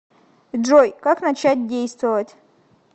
джой как начать действовать